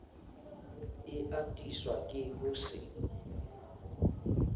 e atiswa ke ho se